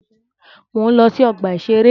Mò ń lọ sí ọgbà-ìṣeré